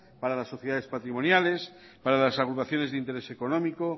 para las sociedades patrimoniales para las agrupaciones de interés económico